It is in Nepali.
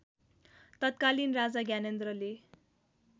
तत्कालीन राजा ज्ञानेन्द्रले